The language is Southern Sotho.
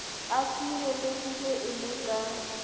a tsielehile e le ka